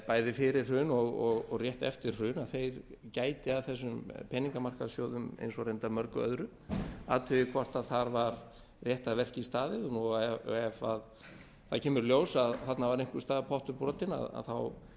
bæði fyrir hrun og rétt eftir hrun gæti að þessum peningamarkaðssjóðum eins og reyndar mörgu öðru að því hvort var var rétt verki staðið og ef það kemur í ljós að þarna var einhvers staðar pottur brotinn þá